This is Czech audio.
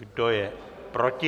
Kdo je proti?